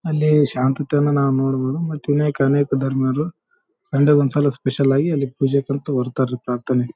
ಅಲ್ಲೆ ಶಾಂತತೆಯನ್ನು ನಾವು ನೋಡಬಹುದು ಮತ್ತೆ ಅನೇಕ ಅನೇಕ ಧರ್ಮೀಯರು ಸನ್‌ಡೇ ಒಂದ್ಸಲ ಸ್ಪೆಶಲ್ಲಾಗಿ ಅಲ್ಲಿ ಪೂಜೆಗಂತ ಬರ್ತಾರೆ ಪ್ರಾರ್ಥನೆಗೆ.